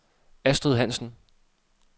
Astrid Hansen